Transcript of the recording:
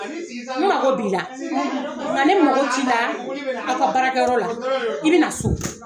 N mako b'i la, nka ne mako t'i la aw ka baarakɛyɔrɔ la, i bɛ na so.